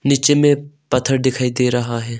नीचे में पत्थर दिखाई दे रहा है।